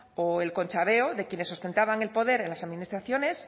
o el conchaveo de quienes ostentaban el poder en las administraciones